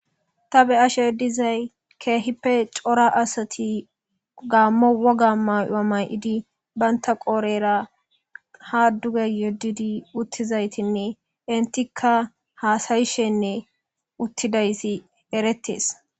Ta be'ashe dizayi kehippe co'ra asati gamo woga mayo mayidi banta qorera ha duge yedidi utizayitinne entika hasayishenne utidayiti eretes